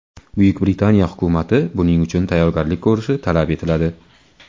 Buyuk Britaniya hukumati buning uchun tayyorgarlik ko‘rishi talab etiladi.